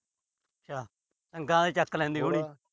ਅੱਛਾ। ਗਾਂ ਹੀ ਚੱਕ ਲੈਂਦੀ ਹੋਣੀ।